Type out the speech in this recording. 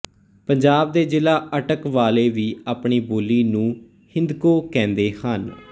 ਪੰਜਾਬ ਦੇ ਜ਼ਿਲ੍ਹਾ ਅਟਕ ਵਾਲੇ ਵੀ ਆਪਣੀ ਬੋਲੀ ਨੂੰ ਹਿੰਦਕੋ ਕਹਿੰਦੇ ਹਨ